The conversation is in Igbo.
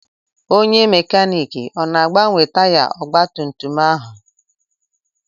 Onye mekaniiki ọ na-agbanwe taya ọgbatumtum ahụ?